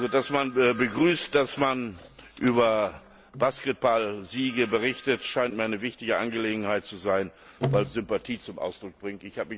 Dass man begrüßt, dass man über Basketballsiege berichtet, scheint mir eine wichtige Angelegenheit zu sein, weil es Sympathie zum Ausdruck bringt.